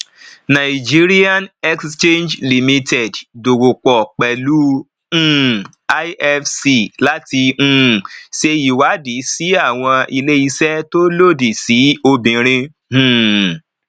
nigerian exchange limited dowo pò pelu um ifc láti um ṣe ìwádìí sí àwọn ilé ìṣe tó lòdì sí obìnrin um